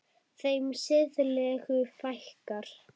Þeim siðlegu fækkar.